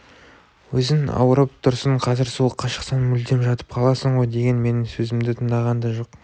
өзің ауырып тұрсың қазір суыққа шықсаң мүлдем жатып қаласың ғой деген менің сөзімді тыңдаған да жоқ